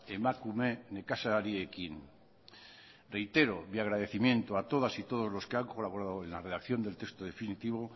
emakume nekazariekin reitero mi agradecimiento a todas y todos los que han colaborado en la redacción del texto definitivo